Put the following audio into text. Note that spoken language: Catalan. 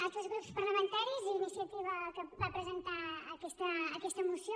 altres grups parlamentaris i iniciativa que va presentar aquesta moció